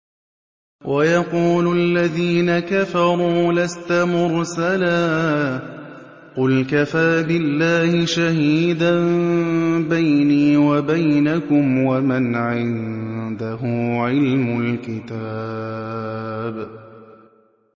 وَيَقُولُ الَّذِينَ كَفَرُوا لَسْتَ مُرْسَلًا ۚ قُلْ كَفَىٰ بِاللَّهِ شَهِيدًا بَيْنِي وَبَيْنَكُمْ وَمَنْ عِندَهُ عِلْمُ الْكِتَابِ